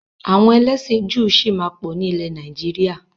Àwọn ẹlẹ́sìn Júù sì máa pọ̀ ni ilẹ̀ Nàìjíríà.